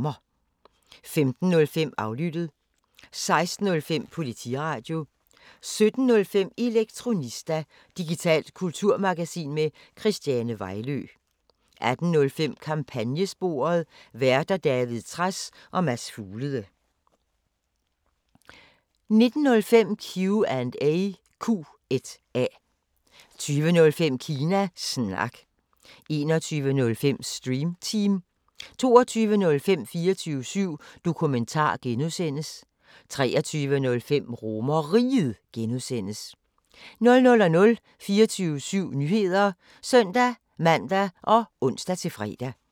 15:05: Aflyttet 16:05: Politiradio 17:05: Elektronista – digitalt kulturmagasin med Christiane Vejlø 18:05: Kampagnesporet: Værter: David Trads og Mads Fuglede 19:05: Q&A 20:05: Kina Snak 21:05: Stream Team 22:05: 24syv Dokumentar (G) 23:05: RomerRiget (G) 00:00: 24syv Nyheder (søn-man og ons-fre)